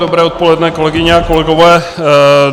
Dobré odpoledne, kolegyně a kolegové.